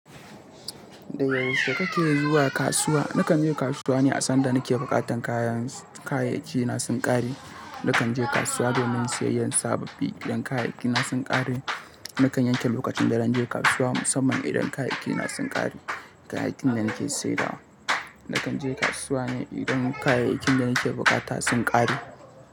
Da yaushe kake zuwa kasuwa? Nakan je kasuwa ne a sanda nake buƙatan kayan, kayayyaki na sun ƙare. Nakanje kasuwa domin siyayyan sababbi, idan kayayyaki ne sun ƙare. Nakan yanke lokacin da zan je kasuwa musamman idan kayayyaki na sun ƙare, kayayyakin da nake saidawa. Nakan je kasuwa ne idan kayayyakin da nake buƙata sun ƙare.